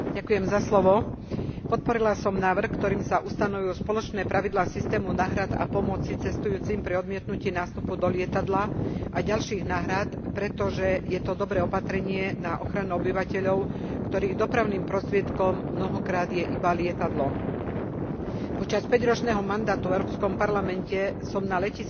Podporila som návrh, ktorým sa ustanovujú spoločné pravidlá systému náhrad a pomoci cestujúcim pri odmietnutí nástupu do lietadla a ďalších náhrad, pretože je to dobré opatrenie na ochranu obyvateľov, ktorých dopravným prostriedkom mnohokrát je iba lietadlo. Počas päťročného mandátu v Európskom parlamente som na letiskách strávila veľa času.